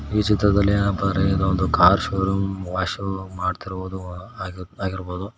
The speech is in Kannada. ಈ ಚಿತ್ರದಲ್ಲಿ ಏನಪ್ಪಾ ಅಂದ್ರೆ ಇದ ಒಂದು ಕಾರ್ ಶೋರೂಂ ವಾಶು ಮಾಡತಿರುವುದು ಆಗಿ ಆಗಿರ್ಬೋದು.